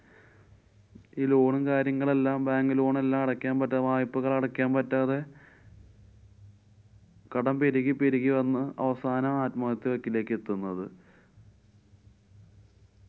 ഈ loan ഉം കാര്യങ്ങളും എല്ലാം bank loan എല്ലാം പറ്റാ~ വായ്പ്പകളടക്കാന്‍ പറ്റാതെ കടം പെരുകി പെരുകി വന്നു അവസാനം ആത്മഹത്യയുടെ വക്കിലെത്തുന്നത്.